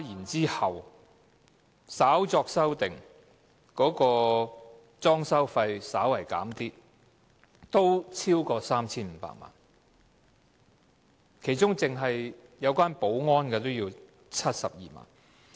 之後，稍作修訂，裝修開支稍為減少，但合計仍超過 3,500 萬元，其中單是保安開支便須72萬元。